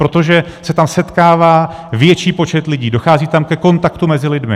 Protože se tam setkává větší počet lidí, dochází tam ke kontaktu mezi lidmi.